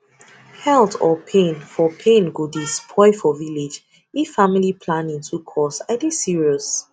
health or pain for pain go dey spoil for village if family planning too cost i dey serious